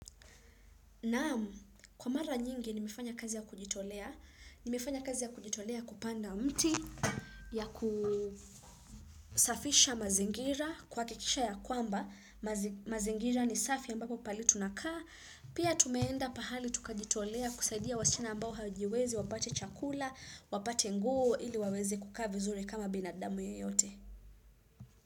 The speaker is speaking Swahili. Naam, kwa mara nyingi nimefanya kazi ya kujitolea, nimefanya kazi ya kujitolea kupanda mti ya kusafisha mazingira kuhakikisha ya kwamba, mazingi mazingira ni safi ambapo pahali tunakaa, pia tumeenda pahali tukajitolea kusaidia wasichana ambao hawajiwezi wapate chakula, wapate nguo ili waweze kuka vizur kama binadamu yeyote.